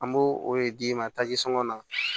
An b'o o de d'i ma taji sɔngɔ la